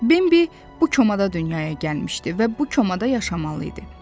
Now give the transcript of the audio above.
Bimbi bu komada dünyaya gəlmişdi və bu komada yaşamalı idi.